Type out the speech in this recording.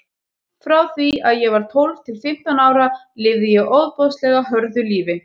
Frá því að ég var tólf til fimmtán ára lifði ég ofboðslega hörðu lífi.